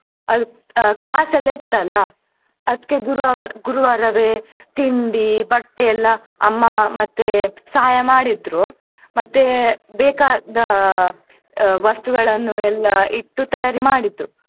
ಅದು class ಎಲ್ಲ ಇತ್ತಲ್ಲ ಅದ್ಕೇ ಗುರ~ ಗುರುವಾರವೆ ತಿಂಡಿ ಬಟ್ಟೆ ಎಲ್ಲ ಅಮ್ಮ ಮತ್ತೆ ಸಹಾಯ ಮಾಡಿದ್ರು ಮತ್ತೆ ಬೇಕಾದ ವಸ್ತುಗಳನ್ನು ಎಲ್ಲ ಇಟ್ಟು ತಯಾರಿ ಮಾಡಿದ್ರು.